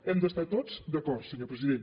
hem d’estar tots d’acord senyor president